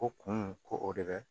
Ko kunun ko o de bɛ